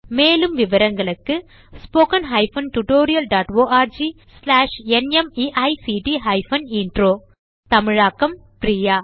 மேலும் விவரங்களுக்கு எங்கள் இணையதளத்தைக் காணவும் 1 தமிழாக்கம் பிரியா